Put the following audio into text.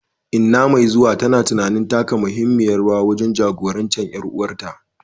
Inna mai zuwa tana tunanin taka muhimmiyar rawa wajen jagorancin ƴan uwanta.